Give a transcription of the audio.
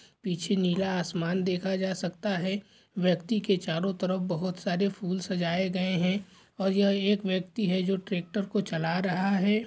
पीछे नीला आसमान देखा जा सकता है | व्यक्ति के चारों तरफ बोहोत सारे फूल सजाए गए हैं और यह एक व्यक्ति है जो ट्रैक्टर को चला रहा है।